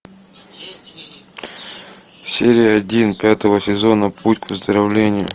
серия один пятого сезона путь к выздоровлению